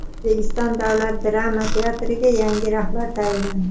O‘zbekiston davlat drama teatriga yangi rahbar tayinlandi.